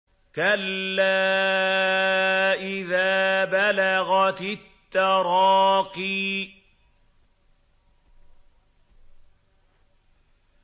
كَلَّا إِذَا بَلَغَتِ التَّرَاقِيَ